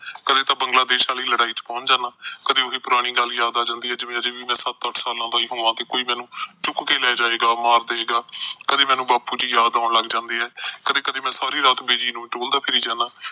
ਕਦੇ ਤਾਂ ਬੰਗਲਾ ਦੇਸ਼ ਆਲੀ ਲੜਾਈ ਚ ਪਹੁੰਚ ਜਾਂਦਾ, ਕਦੀ ਉਹੀ ਪੁਰਾਣੀ ਗੱਲ ਯਾਦ ਆ ਜਾਂਦੀ ਐ ਕਿ ਅਜੇ ਵੀ ਸੱਤ-ਅੱਠ ਸਾਲਾਂ ਦਾ ਹੋਵਾਂ ਤੇ ਕੋਈ ਮੈਨੂੰ ਚੁੱਕ ਕੇ ਲੈ ਜਾਏਗਾ, ਮਾਰ ਦੇਏਗਾ, ਕਦੇ ਮੈਨੂੰ ਬਾਪੂ ਦੀ ਯਾਦ ਆਉਣ ਲੱਗ ਜਾਂਦੀ ਐ, ਕਦੇ-ਕਦੇ ਮੈਂ ਸਾਰੀ ਰਾਤ ਬਿਜੀ ਨੂੰ ਟੋਲਦਾ ਫਿਰੀ ਜਾਂਦਾ।